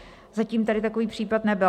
Zatím tady takový případ nebyl.